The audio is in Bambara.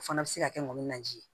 O fana bɛ se ka kɛ ŋɔni na ji ye